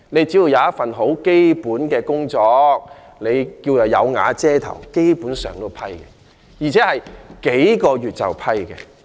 只要有一份基本工作、"有瓦遮頭"，基本上也獲批准，而且只需經過數個月便獲批准。